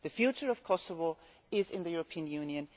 The future of Kosovo is in the European Union.